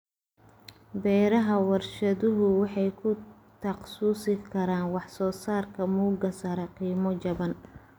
Beeraha warshaduhu waxay ku takhasusi karaan wax soo saarka mugga sare, qiimo jaban.